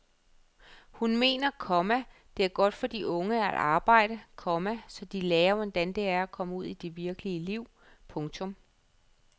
Hun mener, komma det er godt for de unge at arbejde, komma så de lærer hvordan det er at komme ud i det virkelige liv. punktum